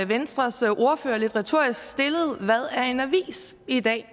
venstres ordfører lidt retorisk stillede hvad er en avis i dag